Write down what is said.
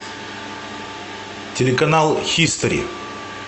телеканал хистори